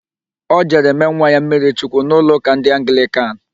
Ọ jere mee nwa ya mmiri chukwu n'ụlọụka ndị Anglịkan.